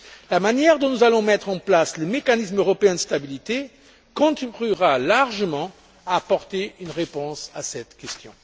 La manière dont nous allons mettre en place le mécanisme européen de stabilité contribuera largement à apporter une réponse à cette question.